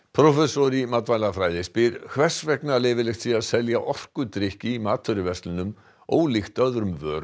prófessor í matvælafræði spyr hvers vegna leyfilegt sé að selja orkudrykki í matvöruverslunum ólíkt öðrum vörum